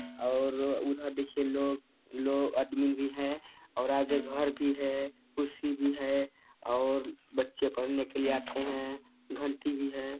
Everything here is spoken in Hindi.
और वो उधर देखिये लोग लो आदमी भी है और आगे घर भी है कुर्सी भी है और बच्चे पढ़ने के लिए आते है घंटी भी है।